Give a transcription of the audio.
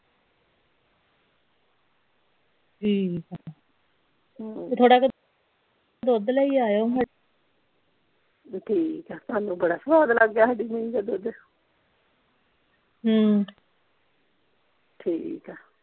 ਠੀਕ ਆ ਹਮ ਥੋੜਾ ਕ ਦੁੱਧ ਲਈ ਆਈਓ ਠੀਕ ਆ ਤੁਹਾਨੂੰ ਬੜਾ ਸਵਾਦ ਲੱਗਾ ਸਾਡੀ ਮਹੀਂ ਦਾ ਦੁੱਧ ਹਮ ਠੀਕ ਆ।